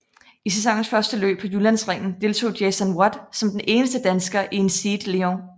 I sæsonens første løb på Jyllandsringen deltog Jason Watt som den eneste dansker i en SEAT León